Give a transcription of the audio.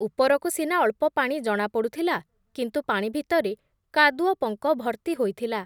ଉପରକୁ ସିନା ଅଳ୍ପ ପାଣି ଜଣା ପଡ଼ୁଥିଲା, କିନ୍ତୁ ପାଣି ଭିତରେ କାଦୁଅପଙ୍କ ଭର୍ତ୍ତି ହୋଇଥିଲା ।